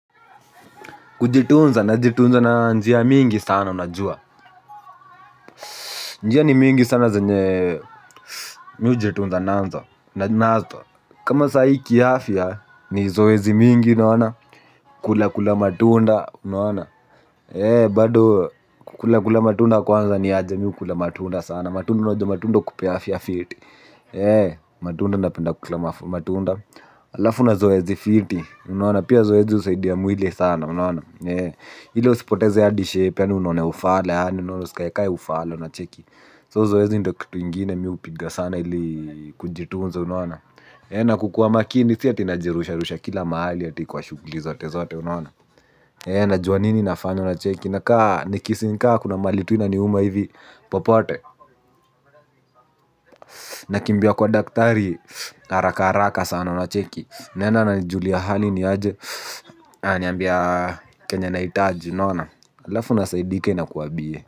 Kujitunza najitunza na njia mingi sana najua njia ni mingi sana zenye mimi hujitunza nazo. Kama sahii kiafya, ni zoezi mingi, nawana kula kula matunda, unaona. Bado, kukulakula matunda kwanza niaje mimi hukula matunda sana. Matunda unajua matunda hukupea afya fiti. Matunda napenda kukula matunda. Alafu na zoezi fiti, unaona, pia zoezi husaidia mwili sana, unaona. Ile usipoteze hadi shape yaani unone ufala yaani unone usikaekae ufala unacheki So zoezi ndo kitu ingine mimi hupiga sana ili kujitunza unaona. Na kukuwa makini si ati najirusharusha kila mahali ati kwa shughuli zote zote unaona. Najua nini nafanya unacheki nakaa nikisinka kuna mahali tu inaniuma hivi popote. Nakimbia kwa daktari haraka haraka sana unacheki. Naenda ananijulia hali ni aje ananiambia kenye nahitaji unaona alafu nasaidika inakua bie.